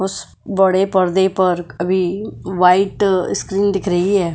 उसे बड़े पर्दे पर अभी व्हाइट स्क्रीन दिख रही है।